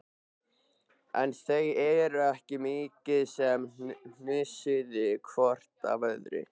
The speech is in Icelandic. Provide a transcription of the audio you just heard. En þau ekki svo mikið sem hnusuðu hvort af öðru.